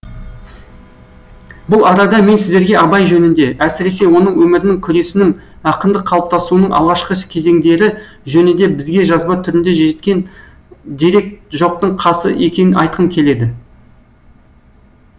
бұл арада мен сіздерге абай жөнінде әсіресе оның өмірінің күресінің ақындық қалыптасуының алғашқы кезеңдері жөнінде бізге жазба түрінде жеткен дерек жоқтың қасы екенін айтқым келеді